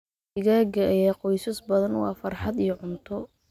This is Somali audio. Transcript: Digaagga ayaa qoysas badan u ah farxad iyo cunto.